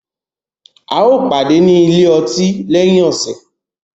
A yóò pàdé ni ilye ọtí lẹhin iṣẹ.